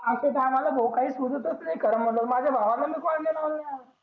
अश्या टायमाले भो काही सुचतच नि खर म्हणलं त माझा भावले कोणाला बोललं नि